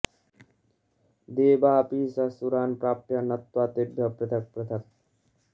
देवापिः स सुरान् प्राप्य नत्वा तेभ्यः पृथक् पृथक्